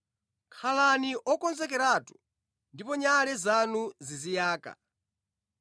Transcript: “Khalani okonzekeratu ndipo nyale zanu ziziyaka,